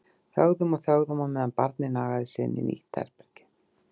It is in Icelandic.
Þögðum og þögðum á meðan barnið nagaði sig inn í nýtt herbergi.